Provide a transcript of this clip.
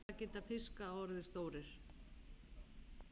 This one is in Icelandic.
Hvað geta fiskar orðið stórir?